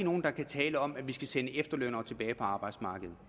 tale om at vi skal sende efterlønnere tilbage på arbejdsmarkedet